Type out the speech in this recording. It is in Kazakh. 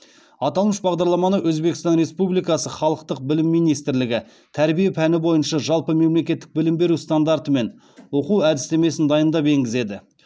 аталмыш бағдарламаны өзбекстан республикасы халықтық білім министрлігі тәрбие пәні бойынша жалпы мемлекеттік білім беру стандарты мен оқу әдістемесін дайындап енгізеді